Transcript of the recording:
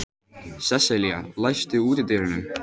Sesselía, læstu útidyrunum.